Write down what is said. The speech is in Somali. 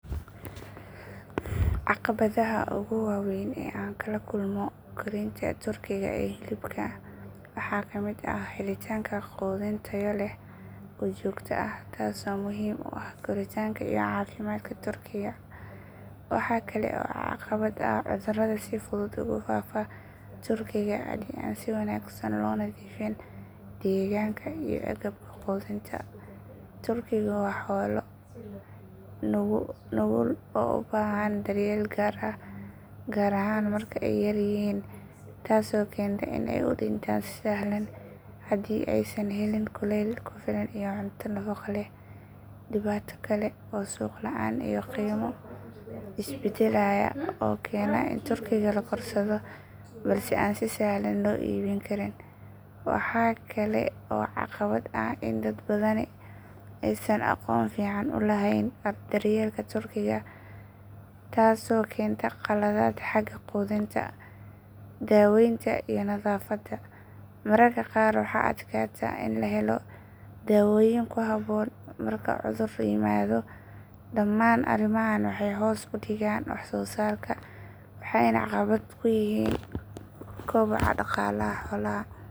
Caqabadaha ugu waaweyn ee aan kala kulmo korinta turkiga ee hilibka waxaa ka mid ah helitaanka quudin tayo leh oo joogto ah taasoo muhiim u ah koritaanka iyo caafimaadka turkiga. Waxaa kale oo caqabad ah cudurada si fudud ugu faafa turkiga haddii aan si wanaagsan loo nadiifin deegaanka iyo agabka quudinta. Turkigu waa xoolo nugul oo u baahan daryeel gaar ah gaar ahaan marka ay yaryihiin, taasoo keenta in ay u dhintaan si sahlan haddii aysan helin kuleyl ku filan iyo cunto nafaqo leh. Dhibaato kale waa suuq la’aan iyo qiimo isbedbedelaya oo keena in turkiga la korsado balse aan si sahlan loo iibin karin. Waxaa kale oo caqabad ah in dad badani aysan aqoon fiican u lahayn daryeelka turkiga taasoo keenta khaladaad xagga quudinta, daweynta iyo nadaafadda. Mararka qaar waxaa adkaata in la helo daawooyin ku habboon marka cudur yimaado. Dhamaan arrimahan waxay hoos u dhigaan wax soo saarka waxayna caqabad ku yihiin koboca dhaqaalaha xoolaha.